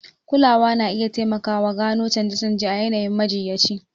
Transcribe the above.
Kulawa na iya taimakawa gano canje-canje a yanayin majiyyaci.